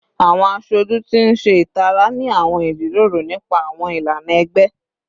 Awọn asoju ti n ṣe itara ni awọn ijiroro nipa awọn ilana ẹgbẹ